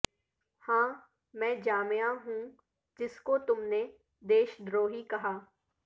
ہاں میں جامعہ ہوں جس کو تم نے دیش دروہی کہا